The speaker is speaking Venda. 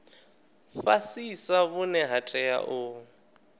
fhasisa vhune ha tea u